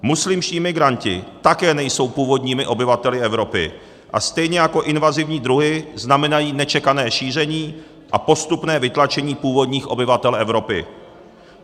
Muslimští migranti také nejsou původními obyvateli Evropy a stejně jako invazivní druhy znamenají nečekané šíření a postupné vytlačení původních obyvatel Evropy.